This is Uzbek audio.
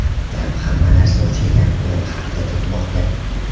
Gap hamma narsa o‘xshagan o‘yin haqida ketmoqda.